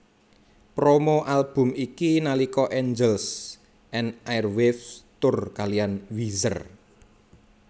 Promo album iki nalika Angels and Airwaves tur kaliyan Weezer